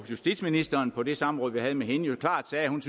justitsministeren på det samråd vi havde med hende klart sagde at hun